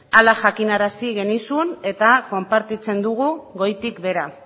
hala jakinarazi genizun eta konpartitzen dugu goitik behera